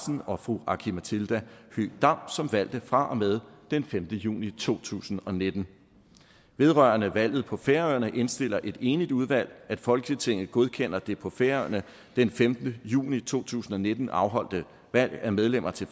og fru aki mathilda høegh dam som valgte fra og med den femte juni to tusind og nitten vedrørende valget på færøerne indstiller et enigt udvalg at folketinget godkender det på færøerne den femte juni to tusind og nitten afholdte valg af medlemmer til